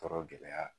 Tɔɔrɔ gɛlɛya